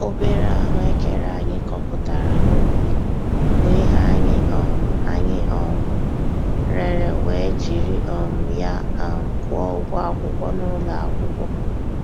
Obere ahụekere anyị kọpụtara n'ubi, bụ ihe anyị um anyị um rere wee jiri um ya um kwụọ ụgwọ akwụkwọ n'ụlọ akwụkwọ.